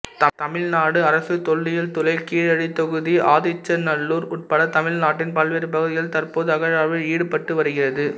தமிழ்நாடு அரசுத் தொல்லியல் துறை கீழடித் தொகுதி ஆதிச்சநல்லூர் உட்பட தமிழ்நாட்டின் பல்வேறு பகுதிகளில் தற்போது அகழாய்வில் ஈடுபட்டுவருகிறது